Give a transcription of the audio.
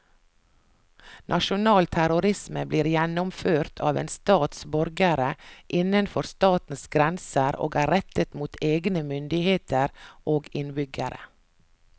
Nasjonal terrorisme blir gjennomført av en stats borgere innenfor statens grenser og er rettet mot egne myndigheter og innbyggere.